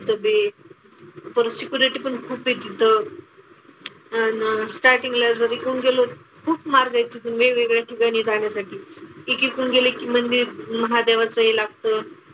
पण खूप आहे तिथं. अन स्टार्टींगला जर इकडून गेलो खूप मार्ग आहेत वेगवेगळ्या ठिकाणी जाण्यासाठी. एक इकडून गेले की मंदिर, महादेवाचं हे लागतं.